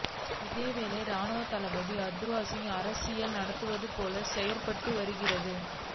இதேவேளை இராணுவத்தளபதி ஹத்துருசிங்க அரசியல் நடத்துவது போல செயற்பட்டு வருகின்றார்